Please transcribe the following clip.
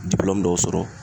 dɔw sɔrɔ